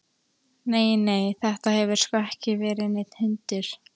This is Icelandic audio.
Nei, nei, þetta hefur sko ekki verið neinn hundur.